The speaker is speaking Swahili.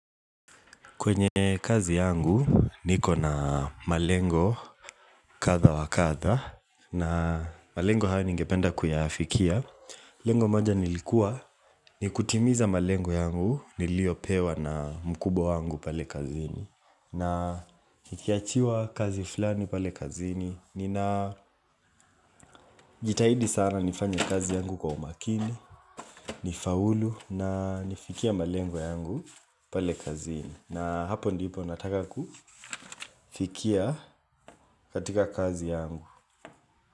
Kwenye kazi yangu niko na malengo katha wakatha na malengo hayo ningependa kuyafikia. Lengo moja nilikua ni kutimiza malengo yangu nilio pewa na mkubwa wangu pale kazini na nikiachiwa kazi fulani pale kazini Nina jitahidi sana nifanye kazi yangu kwa umakini, nifaulu na nifikia malengo yangu pale kazini na hapo ndipo nataka kufikia katika kazi yangu.